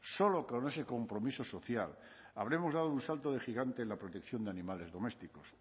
solo con ese compromiso social habremos dado un salto de gigante en la protección de animales domésticos